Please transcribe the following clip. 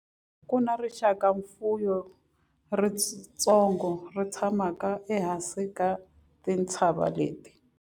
Ku na rixakamfuwo ritsongo ri tshamaka ehansi ka tintshava leti.